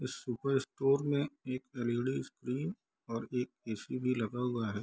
इस super store में एक एल.ई.डी. स्क्रीन एक ए.सी. भी लगा हुआ है।